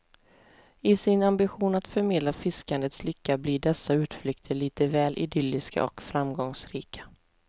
I sin ambition att förmedla fiskandets lycka blir dessa utflykter lite väl idylliska och framgångsrika.